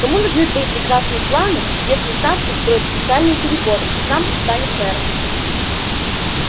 кому нужны твои прекрасные планы если сатт устроит специальные переборы и сам станет мэром